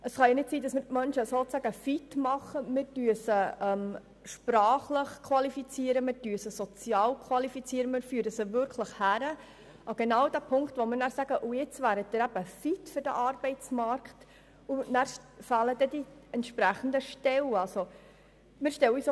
Man kann die Menschen nicht erst fit machen, indem wir sie sprachlich und sozial qualifizieren, und ihnen danach keine entsprechenden Stellen anbieten.